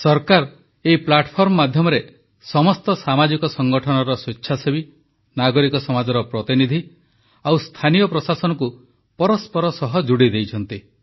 ସରକାର ଏହି ପ୍ଲାଟଫର୍ମ ମାଧ୍ୟମରେ ସମସ୍ତ ସାମାଜିକ ସଂଗଠନର ସ୍ୱେଚ୍ଛାସେବୀ ନାଗରିକ ସମାଜର ପ୍ରତିନିଧି ଆଉ ସ୍ଥାନୀୟ ପ୍ରଶାସନକୁ ପରସ୍ପର ସହ ଯୋଡ଼ିଦେଇଛନ୍ତି